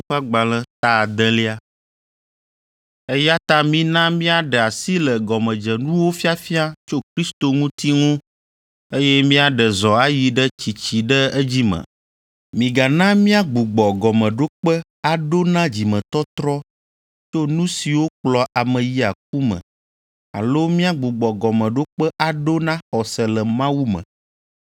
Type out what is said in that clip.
Eya ta mina míaɖe asi le gɔmedzenuwo fiafia tso Kristo ŋuti ŋu, eye míaɖe zɔ ayi ɖe tsitsi ɖe edzi me. Migana míagbugbɔ gɔmeɖokpe aɖo na dzimetɔtrɔ tso nu siwo kplɔa ame yia ku me alo míagbugbɔ gɔmeɖokpe aɖo na xɔse le Mawu me,